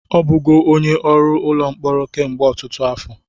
Ọ bụgo onye ọrụ ụlọ mkpọrọ kemgbe ọtụtụ afọ